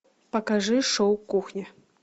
покажи шоу кухня